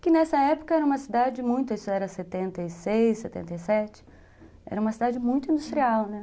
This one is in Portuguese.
Que nessa época era uma cidade muito, isso era setenta e seis, setenta e sete, era uma cidade muito industrial, né?